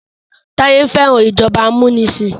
Taye fẹ́ràn ìjọba amunisin.